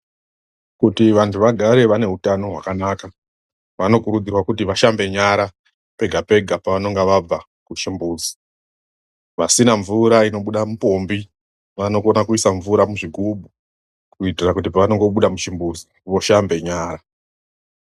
KUTI VANHU VAGARE VANE HUTANO HWAKANAKA vanokurudzirwa kuti vashambe nyara pega pega pavanenge vabva muchimbuzi. VASINA MVURA INOBUDA MUPOMBI VANOgona kuisa mvura muzvigubhu KUITIRA KUTI PAVANONGOBUDA MUCHIMBUZI VOSHAMBE NYARA.